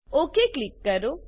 okay click કરો